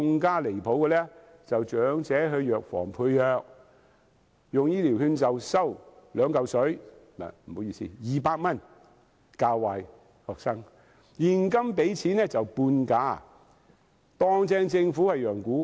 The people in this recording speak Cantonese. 更離譜的是，長者到藥房配藥，使用醫療券的，收200元，現金支付的半價，把政府當羊牯。